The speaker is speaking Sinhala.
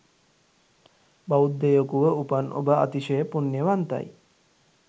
බෞද්ධයකුව උපන් ඔබ අතිශය පුණ්‍යවන්තයි.